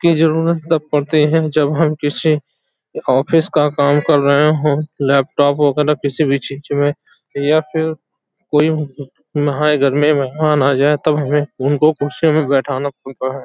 की जरुरत तब पड़ती है। जब हम किसी ऑफिस का काम कर रहें हो। लैपटॉप वगैरह किसी भी चीज़ में या फिर कोई घर में मेहमान आ जाये तब हमें उनको कुर्सियों में बैठाना पड़ता है।